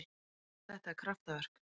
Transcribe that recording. Þetta er kraftaverk.